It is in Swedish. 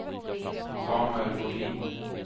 Samuel Bodin